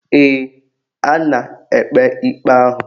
Ee, a na-ekpe ikpe ahụ